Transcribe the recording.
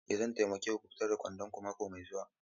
Ee zan taimake ku fitar da kwandon ku mako mai zuwa.